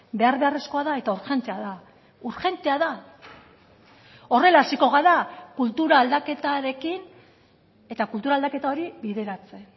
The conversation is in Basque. behar beharrezkoa da eta urgentea da urgentea da horrela hasiko gara kultura aldaketarekin eta kultura aldaketa hori bideratzen